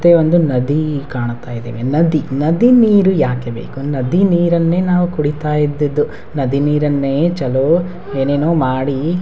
ಮತ್ತೆ ಒಂದು ನದಿ ಕಾಣುತ್ತಾ ಇದೆ ನದಿ ನದಿ ನೀರು ಯಾಕೆ ಬೇಕು ನದಿ ನೀರನೇ ನಾವು ಕುಡೀತಾ ಇದ್ದದ್ದು ನದಿ ನೀರನ್ನೇ ಚಲೋ ಏನೇನೊ ಮಾಡಿ.